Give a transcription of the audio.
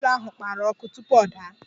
Ụgbọ elu ahụ gbara ọkụ tupu ọ daa.